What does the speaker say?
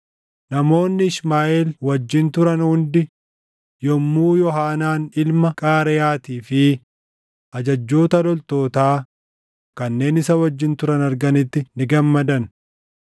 Namoonni Ishmaaʼeel wajjin turan hundi yommuu Yoohaanaan ilma Qaareyaatii fi ajajjoota loltootaa kanneen isa wajjin turan arganitti ni gammadan.